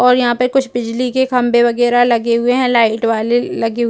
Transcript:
और यहां पर कुछ बिजली के खंबे वगैरह लगे हुए हैं लाइट वाले ल लगे।